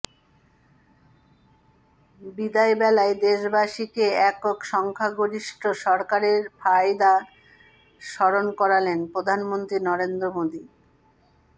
বিদায়বেলায় দেশবাসীকে একক সংখ্যাগরিষ্ঠ সরকারের ফায়দা স্মরণ করালেন প্রধানমন্ত্রী নরেন্দ্র মোদী